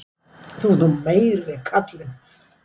Þú ert nú meiri kallinn.